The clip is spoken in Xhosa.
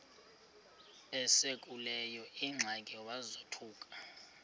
esekuleyo ingxaki wazothuka